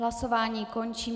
Hlasování končím.